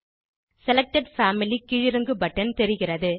selected family கீழிறங்கு button தெரிகிறது